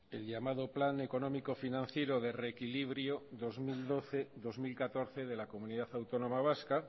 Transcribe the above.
el llamado plan económico financiero de reequilibrio dos mil doce dos mil catorce de la comunidad autónoma vasca